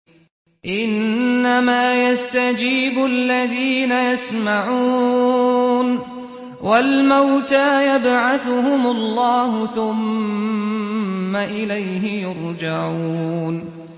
۞ إِنَّمَا يَسْتَجِيبُ الَّذِينَ يَسْمَعُونَ ۘ وَالْمَوْتَىٰ يَبْعَثُهُمُ اللَّهُ ثُمَّ إِلَيْهِ يُرْجَعُونَ